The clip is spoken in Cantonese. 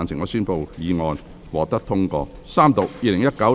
我宣布議案獲得通過。